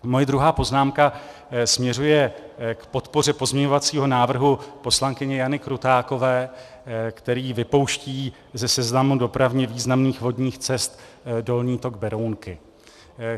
Moje druhá poznámka směřuje k podpoře pozměňovacího návrhu poslankyně Jany Krutákové, který vypouští ze seznamu dopravně významných vodních cest dolní tok Berounky.